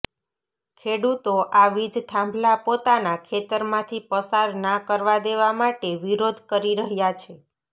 ખેડૂતો આ વીજ થાંભલા પોતાના ખેતરમાંથી પસાર ના કરવા દેવા માટે વિરોધ કરી રહ્યા છે